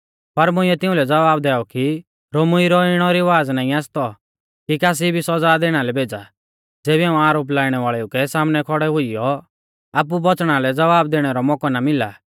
पर मुंइऐ तिउंलै ज़वाब दैऔ कि रोमीऊ रौ इणौ रिवाज़ा नाईं आसतौ कि कासी भी सौज़ा दैणा लै भेज़ा ज़ेबी झ़ांऊ आरोप लाइणै वाल़ेऊ कै सामनै खौड़ै हुइयौ आपु बौच़णा लै ज़वाब दैणै रौ मौकौ ना मिला